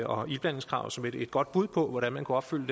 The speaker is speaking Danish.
og iblandingskravet som et godt bud på hvordan man kunne opfylde